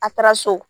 A taara so